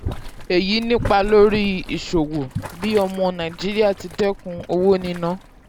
èyí nípa lórí ìṣòwò um bí ọmọ nàìjíríà ti dẹ́kun owó níná.